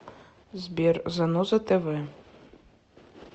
сбер заноза тэ вэ